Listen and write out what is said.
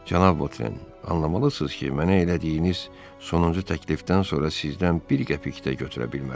Cənab Votren, anlamalısınız ki, mənə elədiyiniz sonuncu təklifdən sonra sizdən bir qəpik də götürə bilmərəm.